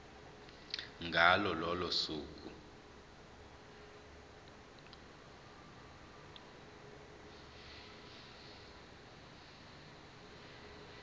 ngalo lolo suku